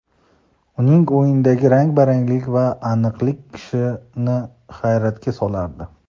Uning o‘yinidagi rang baranglik va aniqlik kishini hayratga solardi.